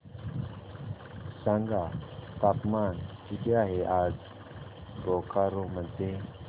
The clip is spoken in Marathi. सांगा तापमान किती आहे आज बोकारो मध्ये